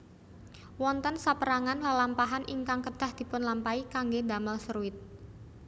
Wonten sapérangan lelampahan ingkang kedah dipunlampahi kangge damel seruit